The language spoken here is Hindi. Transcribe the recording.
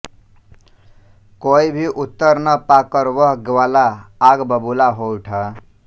कोई भी उत्तर न पाकर वह ग्वाला आग बबूला हो उठा